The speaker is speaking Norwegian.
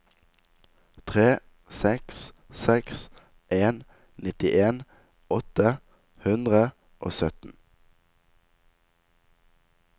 tre seks seks en nittien åtte hundre og sytten